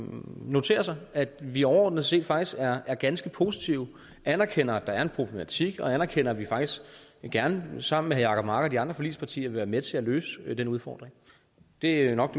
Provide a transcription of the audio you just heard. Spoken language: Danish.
noterer sig at vi overordnet set faktisk er er ganske positive vi anerkender at der er en problematik og vi anerkender at vi faktisk gerne sammen med herre jacob mark og de andre forligspartier vil være med til at løse den udfordring det er nok